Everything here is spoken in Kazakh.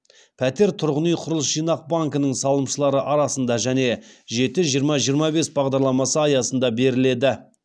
пәтер тұрғын үй құрылыс жинақ банкінің салымшылары арасында және жеті жиырма жиырма бес бағдарламасы аясында беріледі